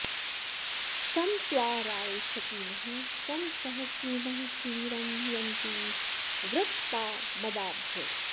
सं त्वा॒ रायः॑ श॒तिनः॒ सं स॑ह॒स्रिणः॑ सु॒वीरं॑ यन्ति व्रत॒पाम॑दाभ्य